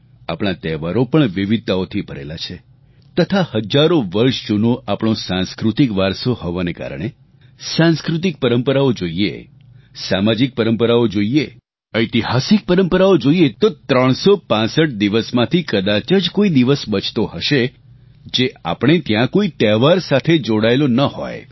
આપણા તહેવારો પણ વિવિધતાઓથી ભરેલા છે તથા હજારો વર્ષ જૂનો આપણો સાંસ્કૃતિક વારસો હોવાને કારણે સાંસ્કૃતિક પરંપરાઓ જોઈએ સામાજિક પરંપરાઓ જોઈએ ઐતિહાસિક પરંપરાઓ જોઈએ તો 365 દિવસમાંથી કદાચ જ કોઈ દિવસ બચતો હશે જે આપણે ત્યાં કોઈ તહેવાર સાથે જોડાયેલો ન હોય